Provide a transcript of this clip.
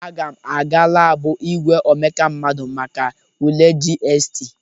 Aga m aga labụ igwe omeka mmadụ make ule GST.